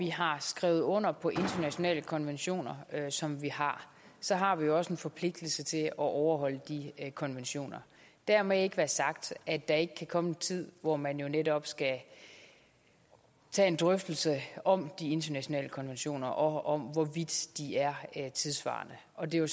vi har skrevet under på internationale konventioner som vi har så har vi jo også en forpligtelse til at overholde disse konventioner dermed ikke være sagt at der ikke kan komme en tid hvor man netop skal tage en drøftelse om de internationale konventioner og om hvorvidt de er er tidssvarende og det er jo